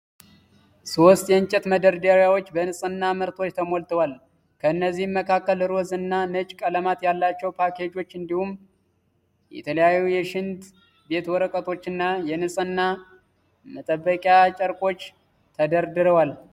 ሶስት የእንጨት መደርደሪያዎች በንጽህና ምርቶች ተሞልተዋል። ከነዚህም መካከል ሮዝ እና ነጭ ቀለማት ያላቸው ፓኬጆች እንዲሁም የተለያዩ የሽንት ቤት ወረቀቶችና የንጽህና መጠበቂያ ጨርቆች ተደርድረዋል።